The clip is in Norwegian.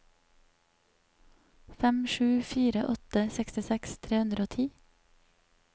fem sju fire åtte sekstiseks tre hundre og ti